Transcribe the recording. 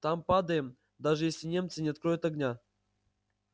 там падаем даже если немцы не откроют огня